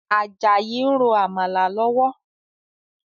Ajayi n ro Àmàlà lọ́wọ́